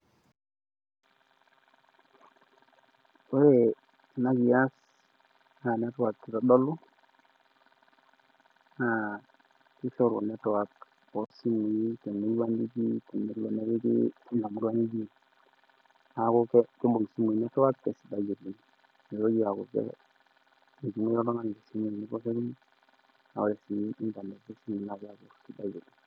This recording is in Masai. ore ena kias naa network itodolu, naa kishoru network te wueji nitii temurua nitii neeku kibung' isimui network tesidai oleng. nitoki aaku ore inernet kisidai oleng.